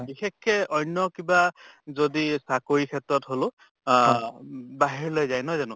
বিশেষকে অন্য় কিবা যদি চাকৰি ক্ষেত্ৰত হʼলেওঁ আহ উম বাহিৰলৈ যায় নহয় জানো?